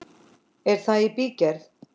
Er það í bígerð?